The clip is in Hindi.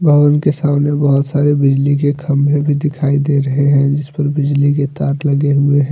और उनके सामने बहोत सारे बिजली के खंभे भी दिखाई दे रहे हैं जिस पर बिजली के तार लगे हुए हैं।